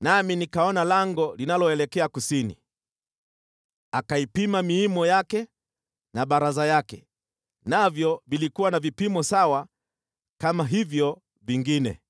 nami nikaona lango linaloelekea kusini. Akaipima miimo yake na baraza yake, navyo vilikuwa na vipimo sawa kama hivyo vingine.